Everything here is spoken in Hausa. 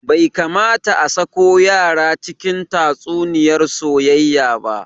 Bai kamata a sako yara cikin tatsuniyar soyayya ba